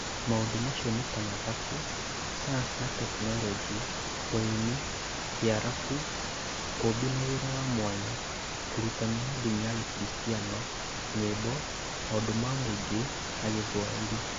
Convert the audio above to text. Maũndũ macio nĩ ta Mathabu , Sayansi na Tekinoronjĩ, Ũrĩmi, Kĩarabu, Ũũmbi na Wĩra wa Mwanya, Ũrutani wa Ndini ya Gĩkristiano, Nyĩmbo, Maũndũ ma Mũingĩ na Gĩthwaĩri